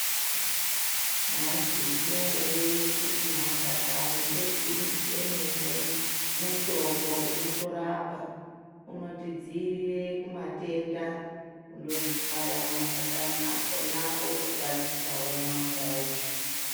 Mwaizviziya ere kuti mashakani ebinzi emene mutombo unotorapa unotidzirira kumatenda kundokaya mashakani akona wotokwatisa womwa mvura yacho.